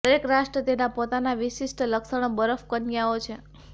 દરેક રાષ્ટ્ર તેના પોતાના વિશિષ્ટ લક્ષણો બરફ કન્યાઓ છે